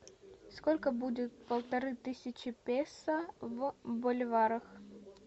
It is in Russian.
сколько будет полторы тысячи песо в боливарах